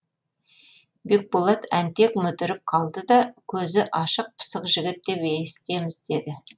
бекболат әнтек мүдіріп қалды да көзі ашық пысық жігіт деп есітеміз деді